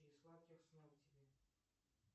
и сладких снов тебе